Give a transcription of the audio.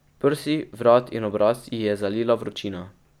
Prsi, vrat in obraz ji je zalila vročina.